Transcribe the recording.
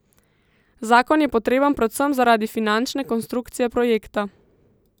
Zakon je potreben predvsem zaradi finančne konstrukcije projekta.